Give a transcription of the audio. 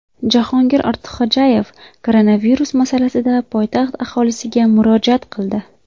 Jahongir Ortiqxo‘jayev koronavirus masalasida poytaxt aholisiga murojaat qildi.